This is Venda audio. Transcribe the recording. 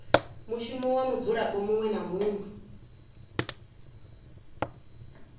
mushumo wa mudzulapo muṅwe na